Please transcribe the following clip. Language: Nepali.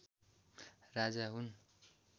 राजा हुन्